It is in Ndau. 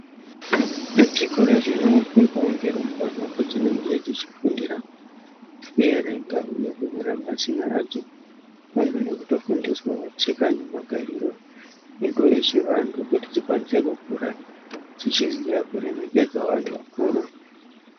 Muzvikora zvinofundwawo ngerumbwana kwadzinenge dzechifundira kuerenga uye kunyorawo mazina adzo pamwe nekutofundiswawo tsika nemagariro edu echivantu kuti dzikwanise kukura dzichiziya kuremekedza vantu vakuru.